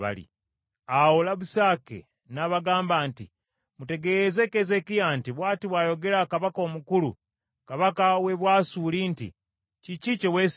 Awo Labusake n’abagamba nti, “Mutegeeze Keezeekiya nti, “ ‘Bw’ati bw’ayogera kabaka omukulu, kabaka w’e Bwasuli nti, Kiki kye weesiga?